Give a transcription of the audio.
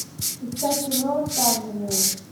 искать кино оставленные